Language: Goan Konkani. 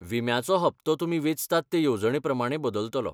विम्याचो हप्तो तुमी वेंचतात ते येवजणेप्रमाणें बदलतलो.